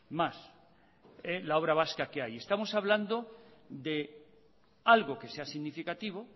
más la obra vasca que hay estamos hablando de algo que sea significativo